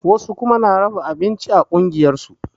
Wasu kuma na raba abinci a ƙungiyar su